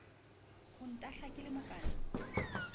ho ntahla ke le mokana